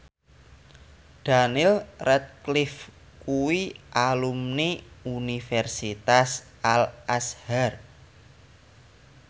Daniel Radcliffe kuwi alumni Universitas Al Azhar